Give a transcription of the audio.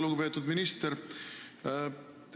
Lugupeetud minister!